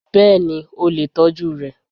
Bẹ́ẹ̀ni, o lè tọ́jú rẹ